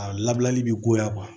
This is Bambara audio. A labilali bi goya kuwa